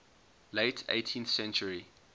late eighteenth century